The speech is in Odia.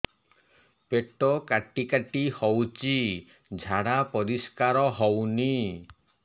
ପେଟ କାଟି କାଟି ହଉଚି ଝାଡା ପରିସ୍କାର ହଉନି